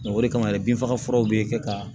o de kama ye bin faga furaw bɛ kɛ ka